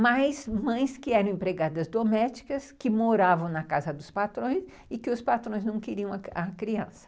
mas mães que eram empregadas domésticas, que moravam na casa dos patrões e que os patrões não queriam a criança.